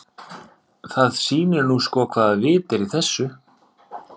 Það sýnir nú sko hvaða vit er í þessu.